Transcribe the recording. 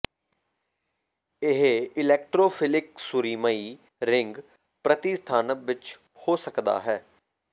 ਇਹ ਇਲੈਕਟ੍ਰੋਫਿਲਿਕ ਸੁਰੀਮਈ ਰਿੰਗ ਪ੍ਰਤੀਸਥਾਪਨ ਵਿੱਚ ਹੋ ਸਕਦਾ ਹੈ